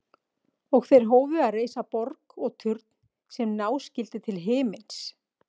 Og þeir hófu að reisa borg og turn sem ná skyldi til himins.